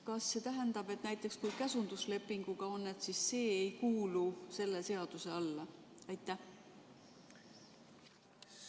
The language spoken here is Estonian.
Kas see tähendab, et kui on käsundusleping, siis see ei kuulu selle seaduse alla?